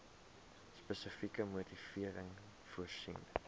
spesifieke motivering voorsien